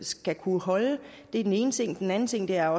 skal kunne holde det er den ene ting den anden ting er